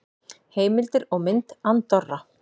Heimildir og mynd Andorra.